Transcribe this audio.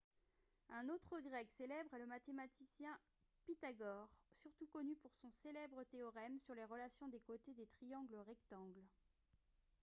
un autre grec célèbre est le mathématicien pythagore surtout connu pour son célèbre théorème sur les relations des côtés des triangles rectangles